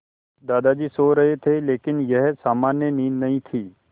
दादाजी सो रहे थे लेकिन यह सामान्य नींद नहीं थी